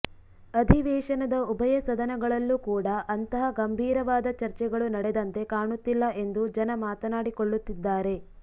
ಅಧಿವೇಶನದ ಉಭಯ ಸದನಗಳಲ್ಲೂ ಕೂಡ ಅಂತಹ ಗಂಭೀರವಾದ ಚರ್ಚೆಗಳು ನಡೆದಂತೆ ಕಾಣುತ್ತಿಲ್ಲ ಎಂದು ಜನ ಮಾತನಾಡಿಕೊಳ್ಳುತ್ತಿದ್ದಾರೆ